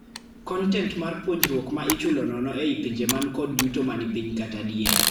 Kontent mar puonjruok ma ichulo nono ei pinje man kot yuto manipiny kata diere.